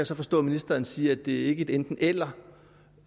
så forstå at ministeren siger at det ikke er et enten eller